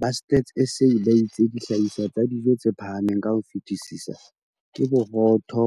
Ba Stats SA ba itse dihlahiswa tsa dijo tse phahameng ka ho fetisisa ke borotho